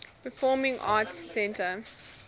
performing arts center